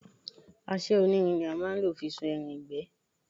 Àṣẹ onírin ni a má a nlò fi sun ẹran ìgbẹ́